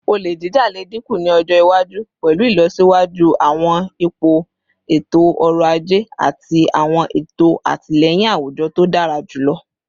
Ole jija le dinku ni ọjọ iwaju pẹlu ilọsiwaju awọn ipo eto-ọrọ aje ati awọn eto atilẹyin awujọ to dara julọ